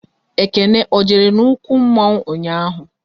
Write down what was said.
Ekene ọ jere n'okwu mmụọ ụnyaahụ?